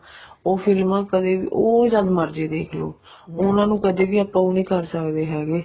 ਉਹ ਫਿਲਮਾ ਕਦੇ ਵੀ ਉਹ ਜਦ ਮਰਜ਼ੀ ਦੇਖਲੋ ਉਹਨਾ ਨੂੰ ਕਦੇ ਵੀ ਆਪਾਂ ਉਹ ਨੀ ਕਰ ਸਕਦੇ ਹੈਗੇ